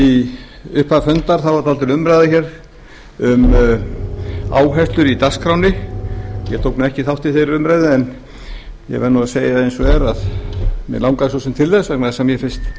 í upphafi fundar var dálítil umræða hér um áherslur í dagskránni ég tók nú ekki þátt í þeirri umræðu en ég verð nú að segja eins og er að mig langaði svo sem til þess vegna þess að mér finnst